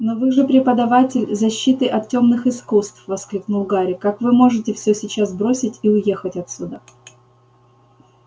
но вы же преподаватель защиты от тёмных искусств воскликнул гарри как вы можете всё сейчас бросить и уехать отсюда